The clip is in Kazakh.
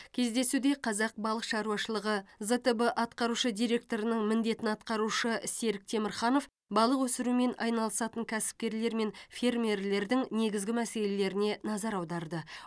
кездесуде қазақ балық шаруашылығы зтб атқарушы директорының міндетін атқарушы серік темірханов балық өсірумен айналысатын кәсіпкерлер мен фермерлердің негізгі мәселелеріне назар аударды